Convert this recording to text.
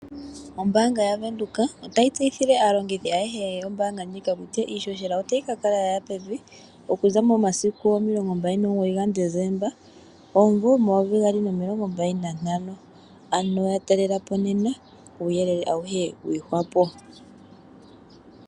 Ombaanga yaWindhoek otayi tseyithile aalongithi ayehe yombaanga ndjika kutya iihohela otayi ka kala yaya pevi okuza momasiku 29 gaDecemba 2025, ano yatalelapo nena kuuyelele auhe wiihwapo.